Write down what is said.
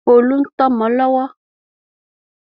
Folú ń tọ́mọ lọ́wọ́.